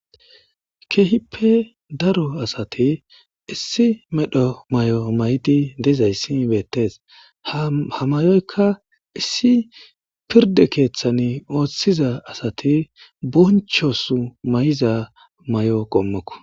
keehippe daro asati issi medho may7o may7di dezayssi beettes ha mayoykka issi pirde keeththan ooththiza asati bonchos may7iza may7o qommoko.